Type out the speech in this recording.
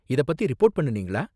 இதை பத்தி ரிப்போர்ட் பண்ணுனிங்களா?